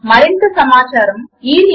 మరింత సమాచారము httpspoken tutorialorgNMEICT Intro